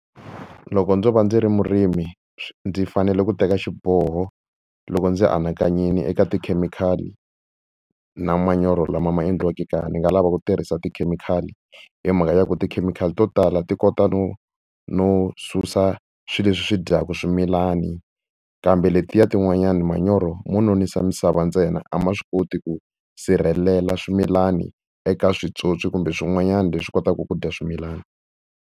Loko ndzo va ndzi ri murimi ndzi fanele ku teka xiboho loko ndzi anakanyile eka tikhemikhali na manyoro lama ma endliweke kaya, ni nga lava ku tirhisa tikhemikhali hi mhaka ya ku tikhemikhali to tala ti kota no no susa swilo leswi swi dyaka swimilani, kambe letiya tin'wanyani manyoro mo nonisa misava ntsena a ma swi koti ku sirhelela swimilani eka switsotswi kumbe swin'wanyana leswi kotaka ku dya swimilana.